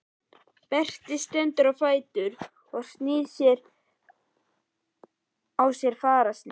Berti stendur á fætur og sýnir á sér fararsnið.